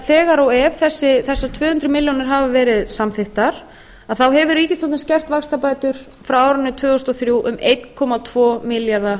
þegar og ef þessar tvö hundruð milljónir hafa verið samþykktar þá hefur ríkisstjórnin skert vaxtabætur frá árinu tvö þúsund og þrjú um einn komma tvo milljarða